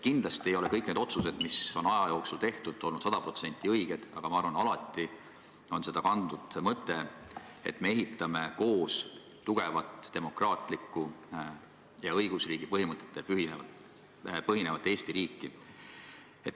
Kindlasti ei ole kõik need otsused, mis on aja jooksul tehtud, olnud sada protsenti õiged, aga ma arvan, et alati on seda kandnud mõte, et me ehitame koos tugevat, demokraatlikku ja õigusriigi põhimõtetel põhinevat Eesti riiki.